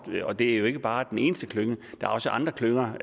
og det er jo ikke bare den eneste klynge der er også andre klynger